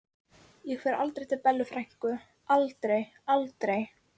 Ég fer aldrei til Bellu frænku, aldrei, aldrei.